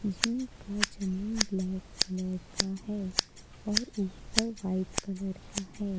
Gym का जमीन में ब्लैक कलर का है और ऊपर व्हाइट कलर का है।